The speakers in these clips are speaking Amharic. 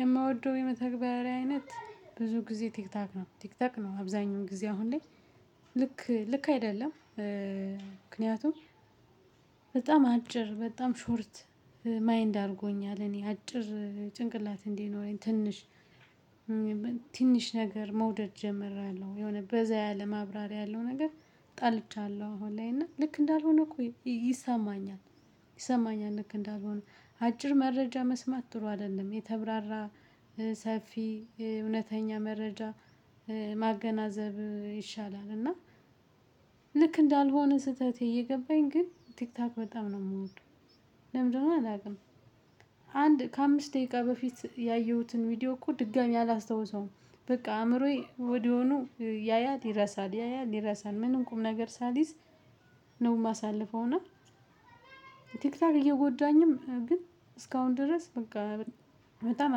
የምወደው የመተግበሪያ አይነት ብዙ ጊዜ ቲክቶክ ነው ቲክቶክ ነው አብዛኛው ጊዜ አሁን ላይ ልክ ልክ አይደለም። ምክንያቱም በጣም አጭር በጣም ሾርት ማይንድ አድርጎኛል እኔ አጭር ጭንቅላት እንዲኖረኝ ትንሽ። ትንሽ ነገር መውደድ ጀምሬለሁ የሆነ በዛ ያለ ማብራሪያ ያለው ነገር ጠልቻለሁ አሁን ላይ እና ልክ እንዳልሆነ እኮ ይሰማኛል። ይሰማኛል ልክ እንዳልሆነ አጭር መረጃ መስማት ጥሩ አይደለም የተብራራ። ሰፊ እውነተኛ መረጃ ማገናዘብ ይሻላል እና። ልክ እንዳልሆነ ስህተቴ እየገባኝ ግን ቲክታክ በጣም ነው የምወደው። ለምን እንደሆነ አላውቅም። አንድ ከአምስት ደቂቃ በፊት ያየሁትን ቪዲዮ እኮ ድጋሚ አላስታውሰውም። በቃ አእምሮዬ ወዲያውኑ ያያል ይረሳል ያያል ይረሳል ምንም ቁም ነገር ሳልይዝ ነው የማሳልፈው እና። ቲክታክ እየጎዳኝም ግን እስካሁን ድረስ በቃ በጣም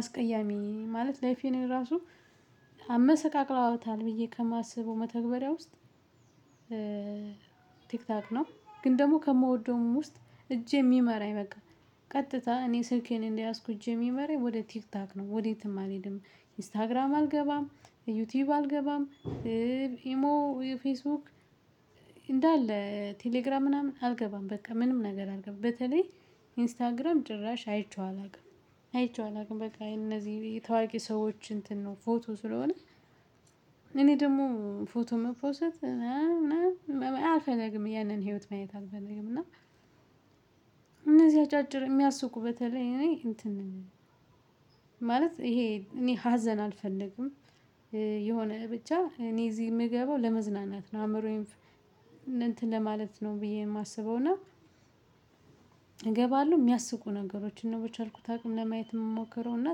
አስቀያሚ ማለት ላይፌ ላይ ራሱ። አመሰቃቅለዋታል ብዬ ከማስበው መተግበሪያ ውስጥ። ቲክታክ ነው። ግን ደግሞ ከምወደውም ውስጥ እጄ የሚመራኝ በቃ ቀጥታ እኔ ስልኬን እንደያዝኩት እጄ ሚመራኝ ወደ ቲክቶክ ነው ወዴትም አልሄድም። ኢንስታግራም አልገባም ዩቲዩብ አልገባም። ኢሞ ወይ ፌስቡክ። እንዳለ ቴሌግራም ምናምን አልገባም በቃ ምንም ነገር አልገባም በተለይ ኢንስታግራም ጭራሽ አይቼው አላውቅም። አይቼው አላውቅም በቃ የነዚህ ታዋቂ ሰዎች እንትን ነው ፎቶ ስለሆነ። እኔ ደግሞ ፎቶ መፖሰት ምናምን አልፈለግም ያንን ህይወት ማየት አልፈለግም እና። እነዚህ አጫጭር የሚያስቁ በተለይ እኔ እንትን ነው ማለት ይሄ እኔ ሀዘን አልፈልግም። የሆነ ብቻ እኔ እዚህ የምገባው ለመዝናናት ነው አምሮዬን እንትን ለማለት ነው ብዬ የማስበውና። እገባለሁ የሚያስቁ ነገሮችን ነው በቻልኩት አቅም ለማየት የምሞክረው እና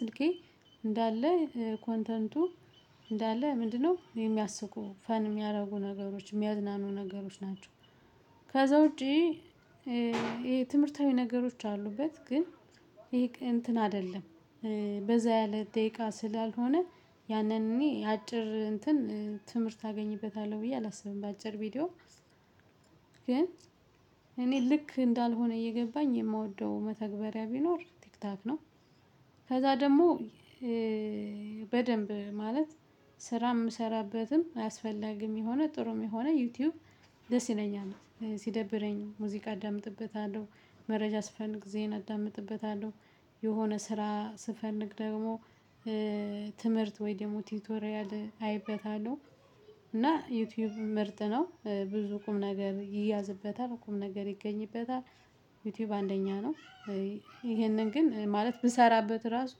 ስልኬ እንዳለ ኮንተንቱ እንዳለ ምንድነው የሚያስቁ ፈን የሚያደርጉ ነገሮች የሚያዝናኑ ነገሮች ናቸው። ከዛ ውጪ የትምህርታዊ ነገሮች አሉበት ግን ይሄ እንትን አይደለም። በዛ ያለ ደቂቃ ስላልሆነ ያንን እኔ አጭር እንትን ትምህርት አገኝበታለሁ ብዬ አላስብም በአጭር ቪዲዮ። ግን እኔ ልክ እንዳልሆነ እየገባኝ የምወደው መተግበሪያ ቢኖር ቲክቶክ ነው። ከዛ ደግሞ በደንብ ማለት ስራ የምሰራበትም አስፈላጊም የሆነ ጥሩም የሆነ ዩቲዩብ ደስ ይለኛል። ሲደብረኝ ሙዚቃ አዳምጥበታለሁ መረጃ ስፈልግ ዜና አዳምጥበታለሁ። የሆነ ስራ ስፈንግ ደግሞ ትምህርት ወይ ደግሞ ቲቶሪያል አይበታለሁ። እና ዩቲዩብ ምርጥ ነው ብዙ ቁም ነገር ይያዝበታል ቁም ነገር ይገኝበታል። ዩቲዩብ አንደኛ ነው። ይሄንን ግን ማለት ብሰራበት ራሱ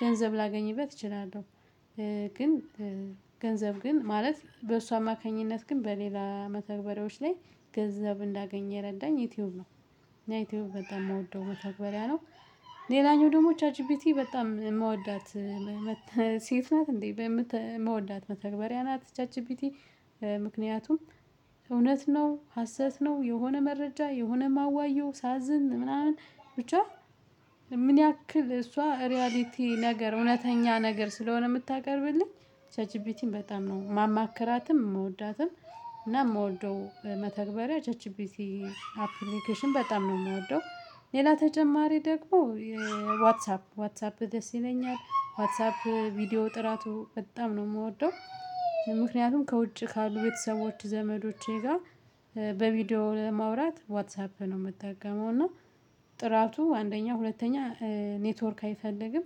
ገንዘብ ላገኝበት እችላለሁ። ግን ገንዘብ ግን ማለት በእሱ አማካኝነት ግን በሌላ መተግበሬዎች ላይ ገንዘብ እንዳገኘ የረዳኝ ዩቲዩብ ነው። ያ ዩቲዩብ በጣም የምወደው መተግበሪያ ነው። ሌላኛው ደግሞ ቻት ጂፒቲ በጣም የምወዳት ሴት ናት እንዴ በምት ምወዳት መተግበሪያ ናት ቻት ጂፒቲ። ምክንያቱም እውነት ነው ሀሰት ነው የሆነ መረጃ የሆነ ማዋየው ሳዝን ምናምን ብቻ ምን ያክል እሷ ሪያሊቲ ነገር እውነተኛ ነገር ስለሆነ የምታቀርብልኝ ቻት ጂፒቲን በጣም ነው ማማከራትም የምወዳትም እና የምወደው መተግበሪያ ቻት ጂፒቲ። አፕሊኬሽን በጣም ነው የምወደው። ሌላ ተጨማሪ ደግሞ ዋትሳፕ ዋትሳፕ ደስ ይለኛል ዋትሳፕ ቪዲዮ ጥራቱ በጣም ነው የምወደው። ምክንያቱም ከውጭ ካሉ ቤተሰቦች ዘመዶቼ ጋር ለማውራት ዋትሳፕ ነው የምትጠቀመው እና ጥራቱ አንደኛ ሁለተኛ ኔትወርክ አይፈልግም።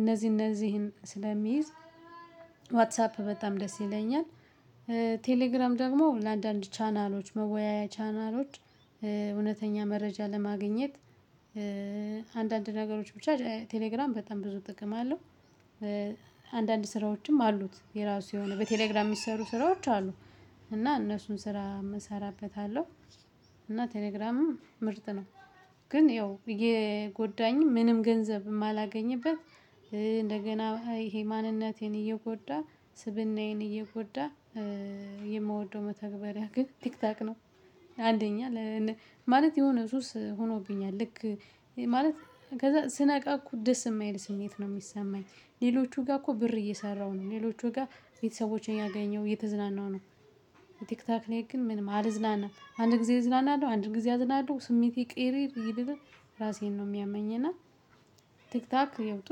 እነዚህ እነዚህን ስለሚይዝ ዋትሳፕ በጣም ደስ ይለኛል። ቴሌግራም ደግሞ ለአንዳንድ ቻናሎች መወያያ ቻናሎች እውነተኛ መረጃ ለማግኘት። አንዳንድ ነገሮች ብቻ ቴሌግራም በጣም ብዙ ጥቅም አለው። አንዳንድ ስራዎችም አሉት የራሱ የሆነ በቴሌግራም የሚሰሩ ስራዎች አሉ። እና እነሱን ስራ እሰራበታለሁ እና ቴሌግራምም ምርጥ ነው። ግን ያው የጎዳኝ ምንም ገንዘብ የማላገኝበት እንደገና ይሄ ማንነቴን እየጎዳ ስብእናዬን እየጎዳ። የምወደው መተግበሪያ ግን ቲክታክ ነው። አንደኛ ማለት የሆነ ሱስ ሆኖብኛል። ልክ ማለት ከዛ ስነቃ እኮ ደስ የማይል ስሜት ነው የሚሰማኝ። ሌሎቹ ጋር እኮ ብር እየሰራሁ ነው ሌሎቹ ጋር የቤተሰቦቼን ያገኘው እየተዝናናሁ ነው። የቲክታክ እኔ ግን ምንም አልዝናናም አንድ ጊዜ እዝናናለሁ አንድ ጊዜ አዝናለሁ ስሜቴ ቅይይር ይልና። ራሴን ነው የሚያመኝና። ቲክታክ ያው ጥሩ